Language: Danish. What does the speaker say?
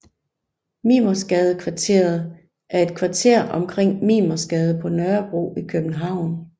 Mimersgadekvarteret er et kvarter omkring Mimersgade på Nørrebro i København